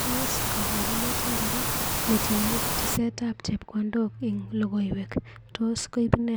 Tos kapurent ngiro netinye tesetab chepkondok ing lokoiwek, tos koip ne?